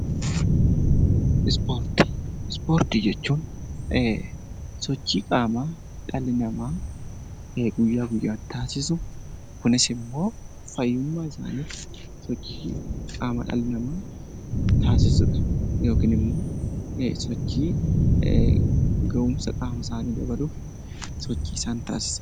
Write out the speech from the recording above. Ispoortii jechuun sochii qaamaa dhalli namaa guyyaa guyyaatti taasisu Kunis immoo fayyummaa isaaniif sochii qaamaa taasisudha. Yookiin immoo sochii gahumsa qaama isaanii dabaluuf sochii isaan taasisanidha.